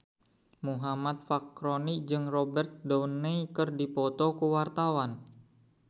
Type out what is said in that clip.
Muhammad Fachroni jeung Robert Downey keur dipoto ku wartawan